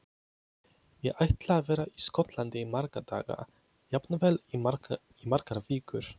Ég ætla að vera í Skotlandi í marga daga, jafnvel í margar vikur.